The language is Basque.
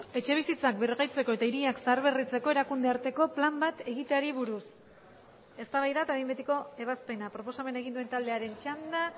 etxebizitzak birgaitzeko eta hiriak zaharberritzeko erakunde arteko plan bat egiteari buruz eztabaida eta behin betiko ebazpena proposamena egin duen taldearen txanda